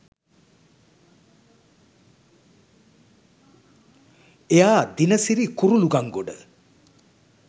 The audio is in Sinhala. එයා දිනසිරි කුරුලුගංගොඩ